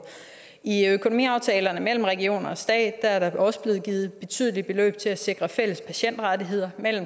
i økonomiaftalerne mellem regionerne og staten er der også blevet givet betydelige beløb til at sikre fælles patientrettigheder